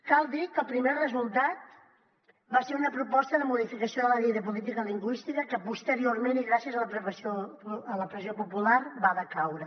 cal dir que el primer resultat va ser una proposta de modificació de la llei de política lingüística que posteriorment i gràcies a la pressió popular va decaure